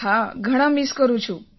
હા ઘણા મિસ કરું છું